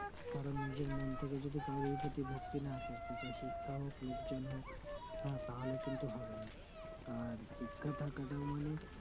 কারো নিজের মন থেকে যদি কোরির প্রতি ভক্তি না আসে শিক্ষা হোক বা লোকজন হোক তাহলে কিন্তু হবে না আর শিক্ষা থাকাটাও মানে